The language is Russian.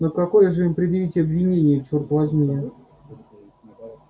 но какое же им предъявить обвинение черт возьми